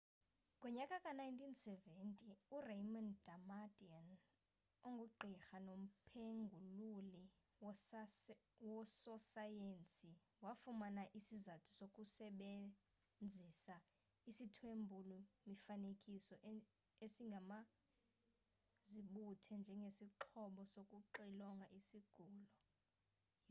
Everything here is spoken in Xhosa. ngonyaka ka-1970 uraymond damadian ongugqirha nomphengululi wososayensi wafumana isizathu sokusebezisa isithwebuli mifanekiso esingumazibuthe njengesixhobo sokuxilonga isigulo